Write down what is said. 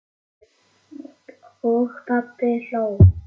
Og pabbi hló.